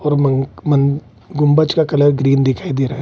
और मन मन गुंबज का कलर ग्रीन दिखाई दे रहा है।